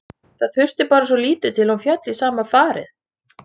Það þurfti bara svo lítið til að hún félli í sama farið.